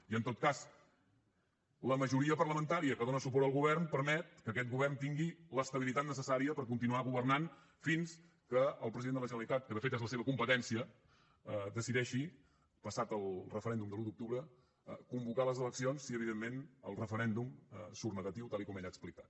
i en tot cas la majoria parlamentària que dona suport al govern permet que aquest govern tingui l’estabilitat necessària per continuar governant fins que el president de la generalitat que de fet és la seva competència decideixi passat el referèndum de l’un d’octubre convocar les eleccions si evidentment el referèndum surt negatiu tal com ell ha explicat